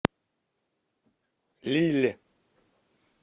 лилль